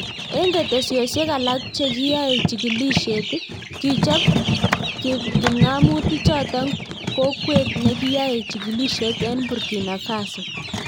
Eng ketesiosiek alak chekiyae chikilisiet ,kichop kipngamotik chotok kokweet nakiyae chikilisiet eng Burkina Faso